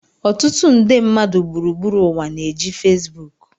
Ọtụtụ nde mmadụ gburugburu ụwa na-eji Fesbuku